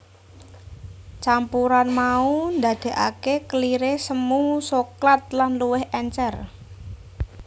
Campuran mau ndadékake keliré semu soklat lan luwih èncèr